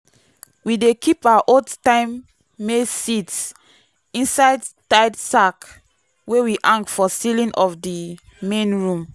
we dey keep our old-time maize seeds inside tied sack wey we hang for ceiling of the main room.